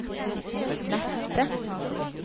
neste